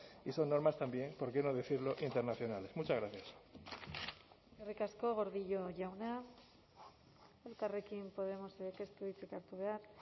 y son normas también por qué no decirlo internacionales muchas gracias eskerrik asko gordillo jauna elkarrekin podemosek ez du hitzik hartu behar